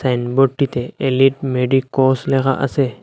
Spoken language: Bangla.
সাইন বোর্ডটিতে এলিট মেডিকোস লেখা আসে।